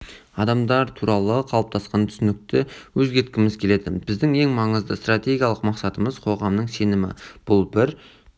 адамдар туралы қалыптасқан түсінікті өзгерткіміз келеді біздің ең маңызды стратегиялық мақсатымыз қоғамның сенімі бұл бір